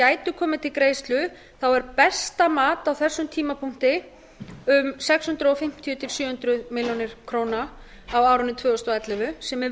gætu komið til greiðslu þá er besta mat á þessum tímapunkti um sex hundruð fimmtíu til sjö hundruð milljóna króna á árinu tvö þúsund og ellefu sem er